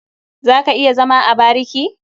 Za ka iya zama a bariki?